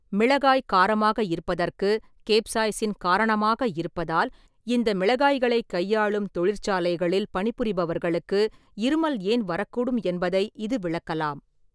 மிளகாய் காரமாக இருப்பதற்குக் கேப்சாய்சின் காரணமாக இருப்பதால் இந்த மிளகாய்களைக் கையாளும் தொழிற்சாலைகளில் பணிபுரிபவர்களுக்கு இருமல் ஏன் வரக்கூடும் என்பதை இது விளக்கலாம்.